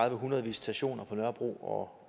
en hundrede visitationer på nørrebro og